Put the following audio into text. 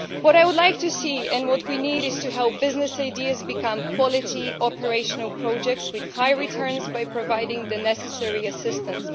What I would like to see and what we need to help with is business ideas becoming quality operational projects with high returns, by providing the necessary assistance.